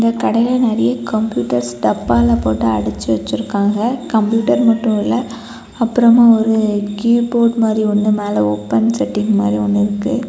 கடைல நரிய கம்ப்யூட்டர்ஸ் டப்பால போட்டு அடச்சு வச்சிருக்காங்க. கம்ப்யூட்டர் மட்டும் இல்ல. அப்புறமா ஒரு கீபோர்ட் மாறி ஒன்னு மேல ஓபன் செட்டிங் மாறி ஒன்னு இருக்கு.